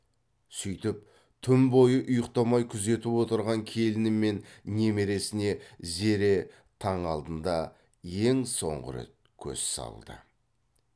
сүйтіп түн бойы ұйықтамай күзетіп отырған келіні мен немересіне зере таң алдында ең соңғы рет көз салды